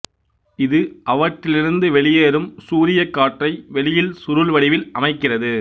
இது அவற்றிலிருந்து வெளியேறும் சூரியக் காற்றை வெளியில் சுருள் வடிவில் அமைக்கிறது